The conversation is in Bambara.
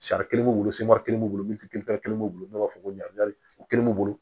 Sariya kelen b'u bolo kelen b'u bolo min tɛ kelen b'u bolo n'u b'a fɔ ko o kelen b'u bolo